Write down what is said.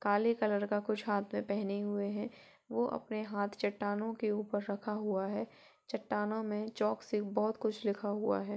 काले कलर का कुछ हाथ मे पहने हुए है वो अपना हाथ चट्टानों के ऊपर रखा हुआ है | चट्टानों मे चोक से बोहोत कुछ लिखा हुआ है।